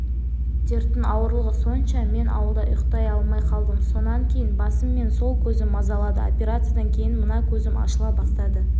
дерттің ауырлығы сонша мен ауылда ұйықтай алмай қалдым сонан кейін басым мен сол көзім мазалады операциядан кейін мына көзім ашыла бастады